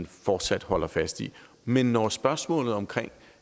fortsat holder fast i men når spørgsmålet om